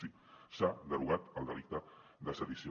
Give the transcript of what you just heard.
sí s’ha derogat el delicte de sedició